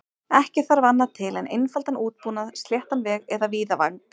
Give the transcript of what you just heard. Ekki þarf annað til en einfaldan útbúnað, sléttan veg eða víðavang.